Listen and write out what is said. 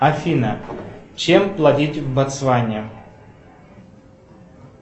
афина чем платить в боцване